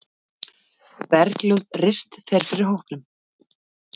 Bergljót Rist fer fyrir hópnum.